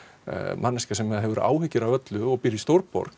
manneskja sem hefur áhyggjur af öllu og býrð í stórborg